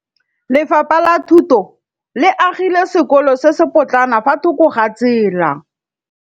Lefapha la Thuto le agile sekôlô se se pôtlana fa thoko ga tsela.